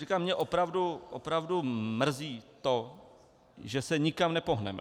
Říkám, mě opravdu mrzí to, že se nikam nepohneme.